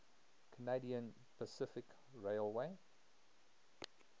canadian pacific railway